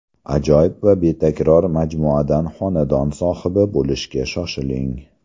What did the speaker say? Ajoyib va betakror majmuadan xonadon sohibi bo‘lishga shoshiling!